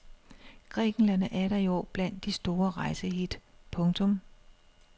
Grækenland er atter i år blandt de store rejsehit. punktum